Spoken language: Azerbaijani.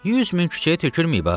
100 min küçəyə tökülməyib ha.